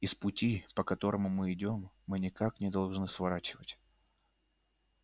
и с пути по которому мы идём мы никак не должны сворачивать